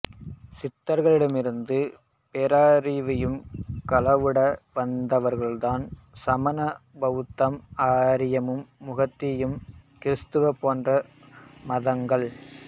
சித்தர்களிடமிருந்து பேரறிவைக் களவாட வந்தவர்கள்தான் சமணம் பவுத்தம் ஆரியம் முகமதியம் கிறித்துவம் போன்ற மதங்கள்